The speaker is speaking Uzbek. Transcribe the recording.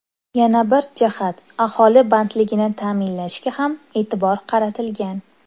Yana bir jihat, aholi bandligini ta’minlashga ham e’tibor qaratilgan.